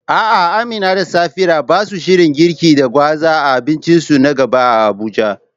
A'a Amina da Safira basa shirin girki da gwaza a abincinsu na gaba a Abuja.